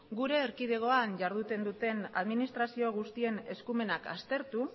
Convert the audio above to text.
gure erkidegoan iharduten duten administrazio guztien eskumenak aztertu